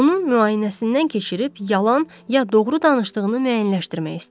Onun müayinəsindən keçirib yalan ya doğru danışdığını müəyyənləşdirmək istəyirdi.